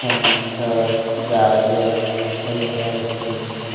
टमाटर गाजर वैगरह रखी हुई हैं।